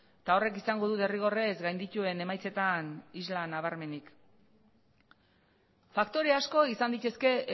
eta horrek izango du derrigorrez gaindituen emaitzetan isla nabarmenik faktore asko izan daitezke